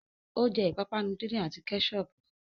Ó jẹ́ ìpápánu díndín àti Kẹ́ṣọpù